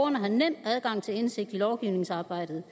har nem adgang til indsigt i lovgivningsarbejdet